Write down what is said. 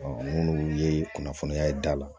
minnu ye kunnafoniya ye da la